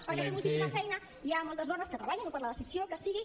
perquè té moltíssima feina hi ha moltes dones que treballen o per la decisió que sigui